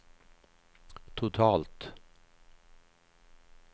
totalt